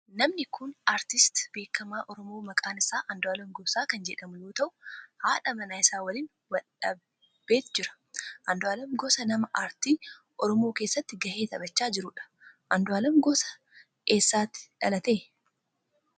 Namni kun aartistii beekamaa oromoo maqaan isaa Andu'aalem Gosaa kan jedhamu yoo ta'u haadha manaa isaa waliin dhaabbatee jira. Andu'aalem Gosaa nama aartii oromoo keessatti gahee taphachaa jirudha. Andu'aalem Gosaa eessatti dhalate?